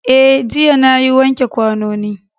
Eh jiya nayi wanke kwanoni